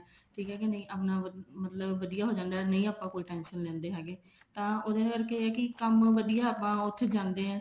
ਠੀਕ ਆ ਕੇ ਨਹੀਂ ਆਪਣਾ ਮਤਲਬ ਵਧੀਆ ਹੋ ਜਾਂਦਾ ਨਹੀਂ ਆਪਾਂ ਕੋਈ tension ਲੈਂਦੇ ਹੈਗੇ ਤਾਂ ਉਹਦੇ ਕਰਕੇ ਇਹ ਹੈ ਵੀ ਕੰਮ ਵਧੀਆ ਆਪਾਂ ਉੱਥੇ ਜਾਂਦੇ ਆ